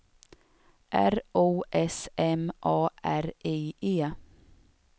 R O S M A R I E